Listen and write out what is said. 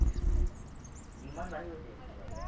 demmand বাঢ়ি গৈছে পূৰা